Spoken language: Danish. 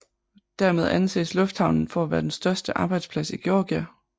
Dermed anses lufthavnen for at være den største arbejdsplads i Georgia